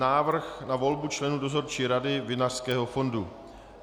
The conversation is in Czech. Návrh na volbu členů Dozorčí rady Vinařského fondu